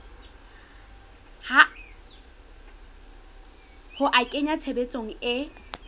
ho a kenya tshebetsong e